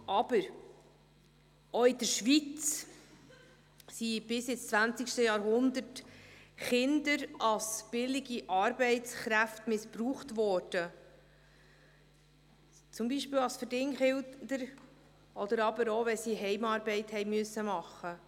Aber: Auch in der Schweiz wurden bis ins 20. Jahrhundert Kinder als billige Arbeitskräfte missbraucht, zum Beispiel als Verdingkinder, aber auch, wenn sie Heimarbeit verrichten mussten.